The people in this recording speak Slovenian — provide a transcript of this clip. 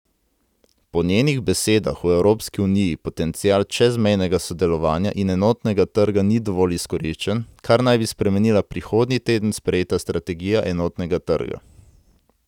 Po njenih besedah v Evropski uniji potencial čezmejnega sodelovanja in enotnega trga ni dovolj izkoriščen, kar naj bi spremenila prihodnji teden sprejeta strategija enotnega trga.